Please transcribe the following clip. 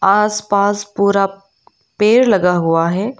आसपास पूरा पेड़ लगा हुआ है।